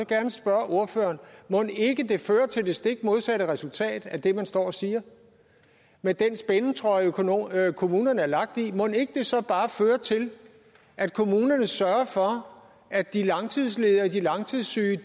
gerne spørge ordføreren mon ikke det fører til det stik modsatte resultat af det man står og siger med den spændetrøje kommunerne er lagt i mon ikke det så bare fører til at kommunerne sørger for at de langtidsledige og de langtidssyge